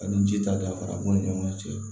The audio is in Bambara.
Ani ji ta danfara b'u ni ɲɔgɔn cɛ